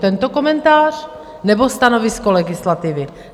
Tento komentář, nebo stanovisko legislativy?